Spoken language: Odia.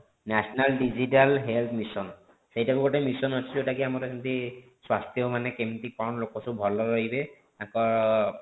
national digital health mission ସେଇଟା ବି ଗୋଟେ mission ଅଛି ଯୋଉଟା କି ଆମର ଏମିତି ସ୍ୱାସ୍ଥ୍ୟ ମାନେ କେମିତି କଣ ଲୋକ ସବୁ ଭଲ ରହିବେ ଆଗ